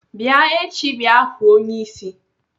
Bịa echi bịa hụụ onyeisi!